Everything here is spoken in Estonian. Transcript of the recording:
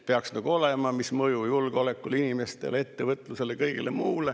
Peaksid nagu olema analüüsid, mis mõju on julgeolekule, inimestele, ettevõtlusele, kõigele muule.